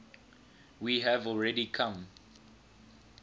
we have already come